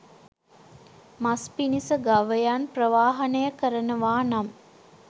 මස් පිණිස ගවයන් ප්‍රවාහනය කරනවා නම්